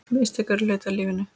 Mistök eru hluti af lífinu.